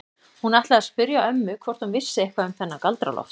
Hún ætlaði að spyrja ömmu hvort hún vissi eitthvað um þennan Galdra-Loft.